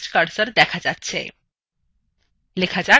আর text cursor দেখা যাচ্ছে